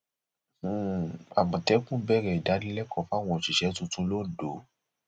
um àmọtẹkùn bẹrẹ ìdánilẹkọọ fáwọn òṣìṣẹ tuntun londo